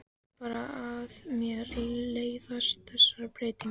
Veit bara að mér leiðast þessar breytingar.